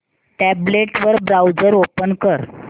tablet वर browser open कर